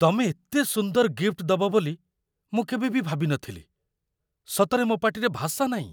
ତମେ ଏତେ ସୁନ୍ଦର ଗିଫ୍ଟ ଦବ ବୋଲି ମୁଁ କେବେ ବି ଭାବିନଥିଲି, ସତରେ ମୋ' ପାଟିରେ ଭାଷା ନାଇଁ ।